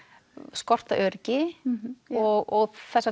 skort á öryggi og þessar